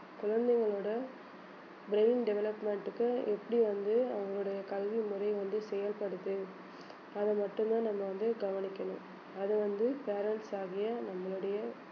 குழந்தைங்களோட brain development க்கு எப்படி வந்து அவங்களுடைய கல்வி முறை வந்து தேவைப்படுது அதை மட்டும்தான் நம்ம வந்து கவனிக்கணும் அதை வந்து parents ஆகிய நம்மளுடைய